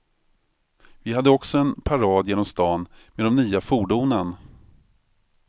Vi hade också en parad genom stan med de nya fordonen.